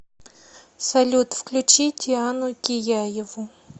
салют включи диану кияеву